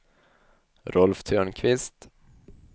Rolf Törnqvist